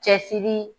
Cɛsiri